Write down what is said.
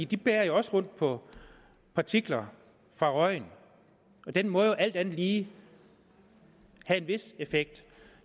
de bærer jo også rundt på partikler fra røgen og den må alt andet lige have en vis effekt